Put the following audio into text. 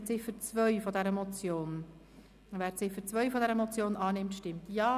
Somit stimmen wir nun über die Abschreibung dieser Ziffer ab.